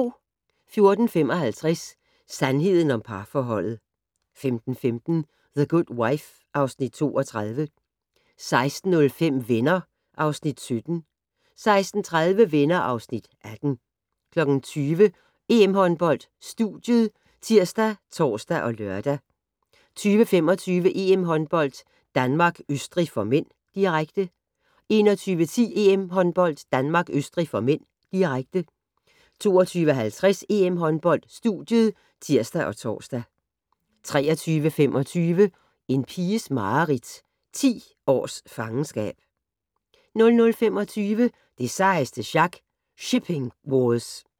14:55: Sandheden om parforholdet 15:15: The Good Wife (Afs. 32) 16:05: Venner (Afs. 17) 16:30: Venner (Afs. 18) 20:00: EM-håndbold: Studiet ( tir, tor, lør) 20:25: EM-håndbold: Danmark-Østrig (m), direkte 21:10: EM-håndbold: Danmark-Østrig (m), direkte 22:50: EM-håndbold: Studiet (tir og tor) 23:25: En piges mareridt - 10 års fangenskab 00:25: Det sejeste sjak - Shipping Wars